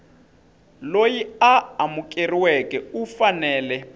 loyi a amukeriweke u fanele